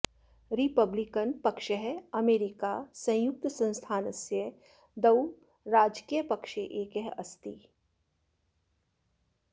Republican पक्षः America संयुक्त संस्थानस्य द्वौ राजकीय पक्षे एकः अस्ति